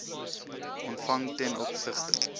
ontvang ten opsigte